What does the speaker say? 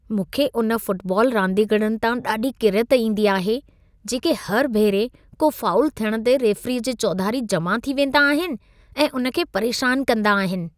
मूंखे उन फुटबॉल रांदीगरनि तां ॾाढी किरियत ईंदी आहे, जेके हर भेरे को फाउल थियण ते रेफरीअ जे चौधारी जमा थी वेंदा आहिन ऐं उन खे परेशान कंदा आहिन।